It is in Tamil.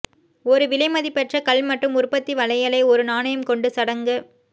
ஒரு விலைமதிப்பற்ற கல் மற்றும் உற்பத்தி வளையலை ஒரு நாணயம் கொண்டு சடங்கு